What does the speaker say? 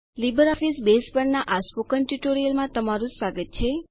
LibreOffice Base પરના આ spoken ટ્યુટોરીયલમાં તમારું સ્વાગત છે